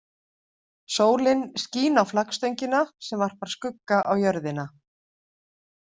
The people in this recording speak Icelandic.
Sólin skín á flaggstöngina sem varpar skugga á jörðina.